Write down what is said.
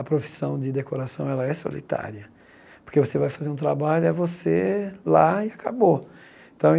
a profissão de decoração ela é solitária, porque você vai fazer um trabalho é você lá e acabou.